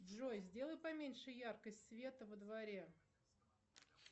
джой сделай поменьше яркость света во дворе